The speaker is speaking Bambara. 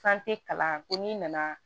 Fan te kalan ko n'i nana